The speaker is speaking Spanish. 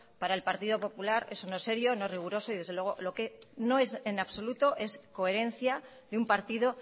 para el partido popular eso no es serio no es riguroso y desde luego lo que no es en absoluto es coherencia de un partido